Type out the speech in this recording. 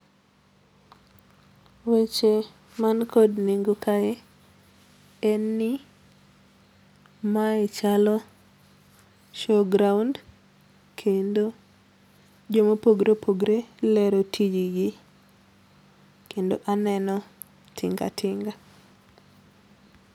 Weche man kod nengo kae en ni mae chalo show ground kendo joma opogore opogore lero tijgi kendo aneno tinga tinga